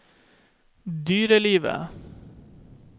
dyrelivet